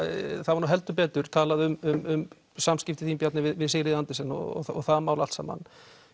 var heldur betur talað um samskipti þín Bjarni við Sigríði Andersen og það mál allt saman